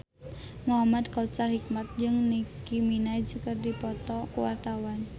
Muhamad Kautsar Hikmat jeung Nicky Minaj keur dipoto ku wartawan